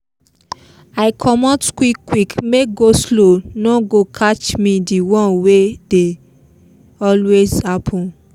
i comot quick quick make go-slow no go catch me the one wey dey always happen